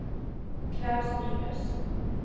Klaus Nyhus